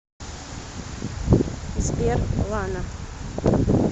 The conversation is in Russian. сбер лана